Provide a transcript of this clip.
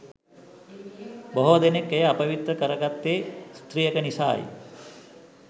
බොහෝ දෙනෙක් එය අපවිත්‍ර කරගත්තේ ස්ත්‍රියක නිසායි.